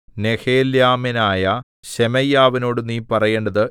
നെഹെലാമ്യനായ ശെമയ്യാവിനോട് നീ പറയേണ്ടത്